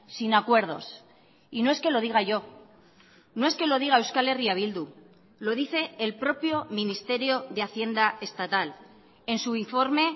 sin acuerdos y no es que lo diga yo no es que lo diga euskal herria bildu lo dice el propio ministerio de hacienda estatal en su informe